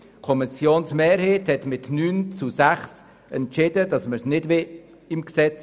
Mit 9 gegen 6 Stimmen hat die Kommissionsmehrheit entschieden, den Passus nicht aufzunehmen.